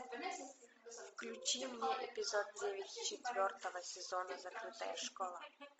включи мне эпизод девять четвертого сезона закрытая школа